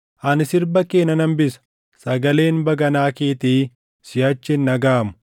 Ani sirba kee nan hambisa; sagaleen baganaa keetii siʼachi hin dhagaʼamu.